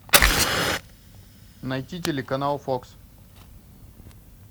найти телеканал фокс